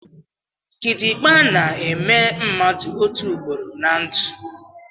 Kitikpa na-èmè mmadụ otu ụugboro ná ndụ